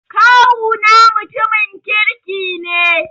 Kawuna mutumin kirki ne.